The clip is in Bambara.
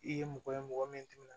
I ye mɔgɔ ye mɔgɔ min tɛmɛna